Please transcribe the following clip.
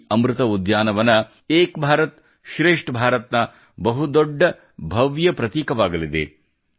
ಈ ಅಮೃತ ಉದ್ಯಾನವನ ಏಕ್ ಭಾರತ್ ಶ್ರೇಷ್ಠ್ ಭಾರತ್ ನ ಬಹುದೊಡ್ಡ ಭವ್ಯ ಪ್ರತೀಕವಾಗಲಿದೆ